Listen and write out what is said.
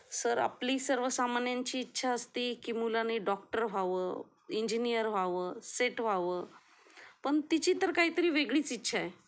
Sir आपली सर्वसामान्यांची इच्छा असते की मुलांनी डॉक्टर व्हावं, इंजिनिअर व्हावं, सेट व्हावं पण तिची तर काहीतरी वेगळीच इच्छा आहे.